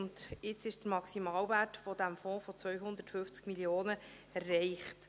Nun ist der Maximalwert dieses Fonds von 250 Mio. Franken erreicht.